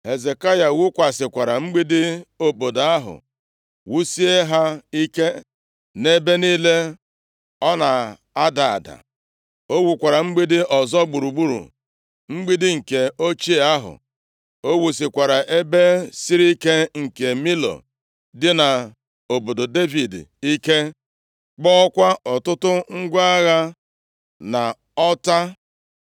Hezekaya wuzikwara mgbidi obodo ahụ, wusie ha ike nʼebe niile ọ na-ada ada. O wukwara mgbidi ọzọ gburugburu mgbidi nke ochie ahụ. O wusikwara ebe siri ike nke Milo dị nʼobodo Devid ike, kpụọkwa ọtụtụ ngwa agha na ọta.